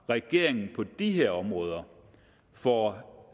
regeringen på de her områder får